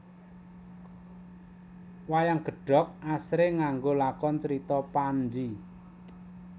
Wayang gedhog asring nganggo lakon Crita Panji